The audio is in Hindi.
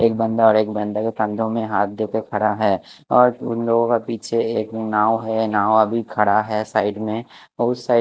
एक बंदा और एक बंदा के फ्रेंडो में हाथ देखे खड़ा हैं और उन लोगो के पीछे एक नाव हैं नाव अभी ड़ा हैं साइड में उस साइड --